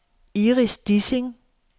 Iris Dissing